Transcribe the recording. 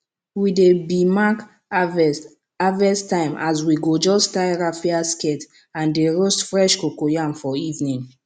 we dey b mark harvest harvest time as we go just tie raffia skirt and dey roast fresh cocoyam for evening